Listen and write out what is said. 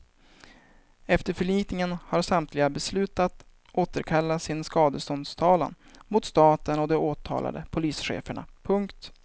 Efter förlikningen har samtliga beslutat återkalla sin skadeståndstalan mot staten och de åtalade polischeferna. punkt